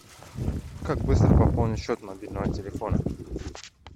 как быстро пополнить счет мобильного телефона